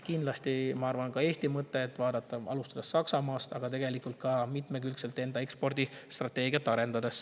Kindlasti, ma arvan, on ka Eesti mõte vaadata alustuseks Saksamaad, aga tegelikult mitmekülgselt enda ekspordistrateegiat arendada.